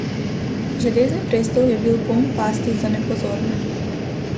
Železni prestol je bil poln pasti za nepozorne.